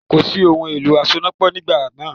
Kòsí ohun ìlò asonápọ̀ nígbà náà